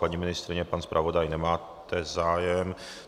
Paní ministryně, pan zpravodaj, nemáte zájem?